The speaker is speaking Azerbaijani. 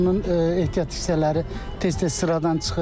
Maşının ehtiyat hissələri tez-tez sıradan çıxır.